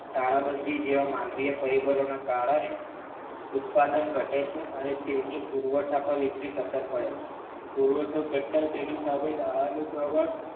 તાળાબંધી જેવાં માનવીય પરિબળોના કારણે ઉત્પાદન ઘટે છે અને તેની પુરવઠા પર વિપરીત અસર પડે છે પુરવઠો ઘટતાં તેની સામે નાણાંનું પ્રમાણ